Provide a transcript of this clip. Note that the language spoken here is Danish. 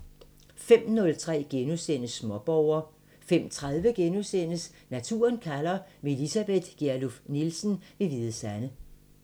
05:03: Småborger * 05:30: Naturen kalder – med Elisabeth Gjerluff Nielsen ved Hvide Sande *